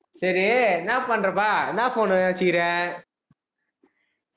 சரி, என்னா பண்றப்பா என்னா phone உ வச்சிருக்கிற